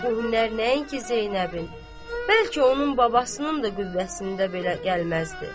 O hünnərlər nəinki Zeynəbin, bəlkə onun babasının da qüvvəsində belə gəlməzdi.